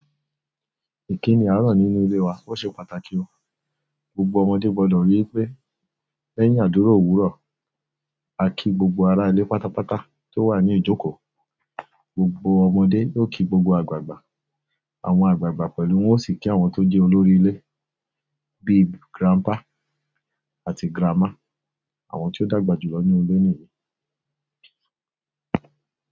Ìkíni àárọ̀ nínú ilé wa ó ṣe pàtàkì ó, gbogbo ọmọdé gbọ́dọ̀ ríi pé lẹ́yìn àdúrà òwúrọ̀, á kí gbogbo ará ilé pátápátá tó wà ní ìjókòó. Gbogbo ọmọdé yóò kí gbogbo àgbààgbà, àwọn àgbààgbà pẹ̀lú wọn ó sì kí àwọn tó jẹ́ olórí ilé bíi grandpa àti grandma, àwọn tí ó dàgbà jùlọ nínú ilé nìyí.